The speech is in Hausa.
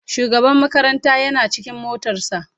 shugaban makaranta Yana cikin motar sa.